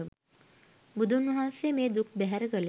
බුදුන් වහන්සේ මේ දුක් බැහැර කළේ